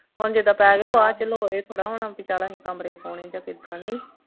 ਹੁਣ ਜਿਦਾਂ ਪੈ ਗਏ ਬਾਅਦ ਚੱਲੋ ਇਹ ਥੋੜਾ ਹੋਣਾ ਬਈ ਚੱਲੋ ਅਸੀਂ ਕਮਰੇ ਪਾਉਣੇ ਜਾਂ ਕਿੱਦਾਂ ਨਹੀਂ